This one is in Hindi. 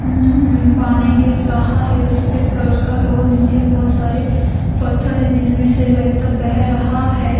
हम्म्म पानी गिर रहा है जो सफेद कलर का है और नीचे बहुत सारे पत्थर है जिनमें से बहता बह रहा है।